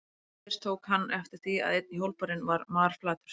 Nú fyrst tók hann eftir því að einn hjólbarðinn var marflatur.